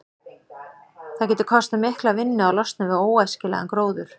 Það getur kostað mikla vinnu að losna við óæskilegan gróður.